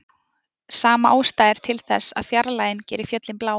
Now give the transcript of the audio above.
Sama ástæða er til þess að fjarlægðin gerir fjöllin blá.